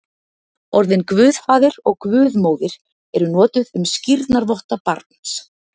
Orðin guðfaðir og guðmóðir eru notuð um skírnarvotta barns.